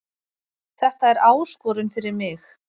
Þetta er áskorun fyrir mig